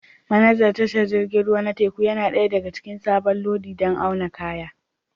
Manajan tashar jiragen ruwa na teku ya nada ɗaya daga cikin sabon lodi don auna kaya